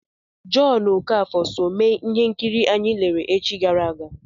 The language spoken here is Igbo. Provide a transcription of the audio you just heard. Jọn Okafọ so mee ihe nkiri anyị lere echi gara aga.